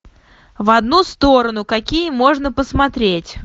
в одну сторону какие можно посмотреть